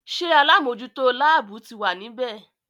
Ṣé alámòjútó láàbù ti wà ní bẹ̀?